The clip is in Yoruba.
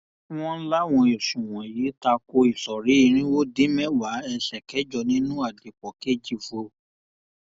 wọn láwọn ẹsùn wọnyí ta ko ìsọrí irínwó dín mẹwàá ẹsẹ kẹjọ nínú àdìpọ kejì vol